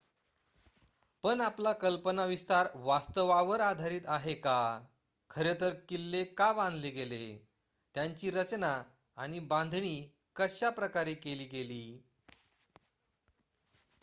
पण आपला कल्पनाविस्तार वास्तवावर आधारित आहे का खरे तर किल्ले का बांधले गेले त्यांची रचना आणि बांधणी कशा प्रकारे केली गेली